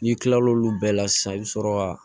N'i kilal' olu bɛɛ la sisan i bɛ sɔrɔ ka